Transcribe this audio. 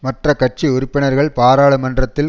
மற்ற கட்சி உறுப்பினர்கள் பாராளுமன்றத்தில்